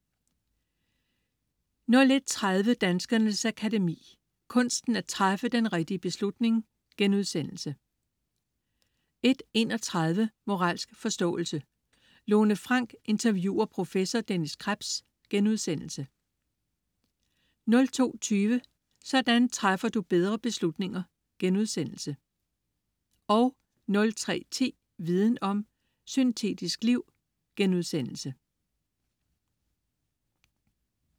01.30 Danskernes Akademi: Kunsten at træffe den rigtige beslutning* 01.31 Moralsk forståelse. Lone Frank interviewer prof. Dennis Krebs* 02.20 Sådan træffer du bedre beslutninger* 03.10 Viden om: Syntetisk liv*